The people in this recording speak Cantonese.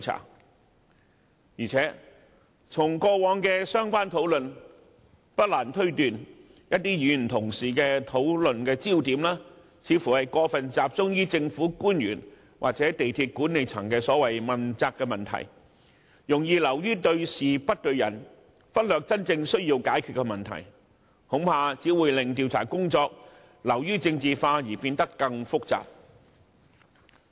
再加上，根據過往的相關討論，不難推斷某些議員的討論焦點有可能會過分集中於政府官員或港鐵公司管理層的問責問題，容易流於對事不對人，忽略真正需要解決的問題，恐怕只會令調查工作流於政治化及變得更複雜。